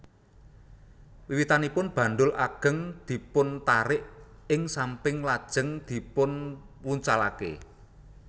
Wiwitanipun bandul agéng dipuntarik ing samping lajéng dipunwucalaké